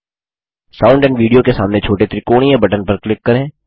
sound and video के सामने छोटे त्रिकोणीय बटन पर क्लिक करें